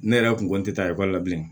Ne yɛrɛ kun kɔn tɛ taa ekɔli la bilen